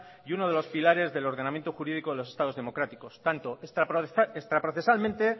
y uno de los pilares del ordenamiento jurídico en los estados democráticos tanto extraprocesalmente